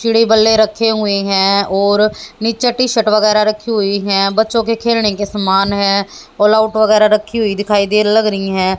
चिड़ि बल्ले रखे हुए हैं और नीचे टी_शर्ट वगैरा रखी हुई है। बच्चों के खेलने के समान है अलाउट वगैरा रखी हुई दिखाई दे लग रही है।